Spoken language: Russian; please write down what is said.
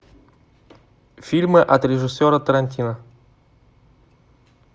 фильмы от режиссера тарантино